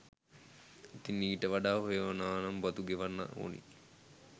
ඉතින් ඊට වඩා හොයනවනම් බදු ගෙවන්න ඕනි.